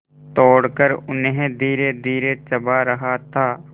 तोड़कर उन्हें धीरेधीरे चबा रहा था